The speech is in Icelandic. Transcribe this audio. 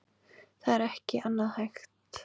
Það er ekki annað hægt